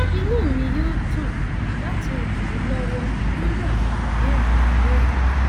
inú mi yóò dùn láti ràn yín lọwọ lórí àwọn ìbéèrè mìíràn